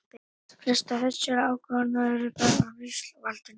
flestar þessara ákvarðana eru teknar af ríkisvaldinu